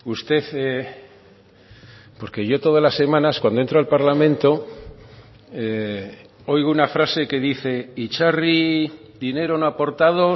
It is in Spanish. usted porque yo todas las semanas cuando entro al parlamento oigo una frase que dice itzarri dinero no aportado